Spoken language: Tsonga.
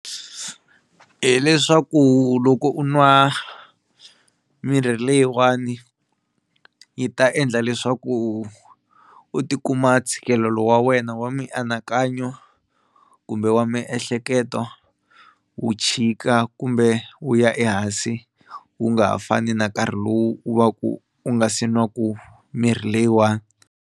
Hi leswaku loko u nwa mirhi leyiwani yi ta endla leswaku u tikuma ntshikelelo wa wena wa mianakanyo kumbe wa miehleketo wu chika kumbe wu ya ehansi wu nga ha fani na nkarhi lowu wu va ku u nga se nwaku mirhi leyiwani.